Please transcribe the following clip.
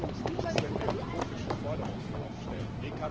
Es bringt uns nichts, wenn wir hier utopische Forderungen aufstellen.